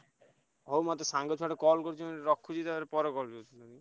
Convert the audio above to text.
ହଉ ମତେ ସାଙ୍ଗ ଛୁଆ ଟେ call କରିଛି ରଖୁଛି ପରେ call କରୁଛି।